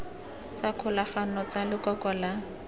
tsa kgolagano tsa lekoko la